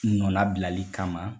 Nɔnnabilali kama.